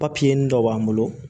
Papiye dɔ b'an bolo